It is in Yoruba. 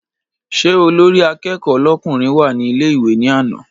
Ṣé olórí akẹ́kọ̀ọ́ lọ́kùnrin wá ní ilé ìwé ní àná?